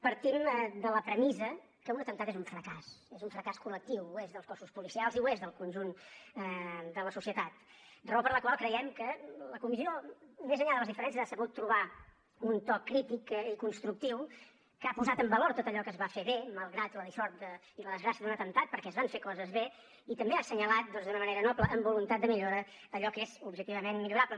partim de la premissa que un atemptat és un fracàs és un fracàs col·lectiu ho és dels cossos policials i ho és del conjunt de la societat raó per la qual creiem que la comissió més enllà de les diferències ha sabut trobar un to crític i constructiu que ha posat en valor tot allò que es va fer bé malgrat la dissort i la desgràcia d’un atemptat perquè es van fer coses bé i també ha assenyalat doncs d’una manera noble amb voluntat de millora allò que és objectivament millorable